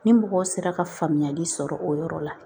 Ni mɔgɔw sera ka faamuyali sɔrɔ o yɔrɔ la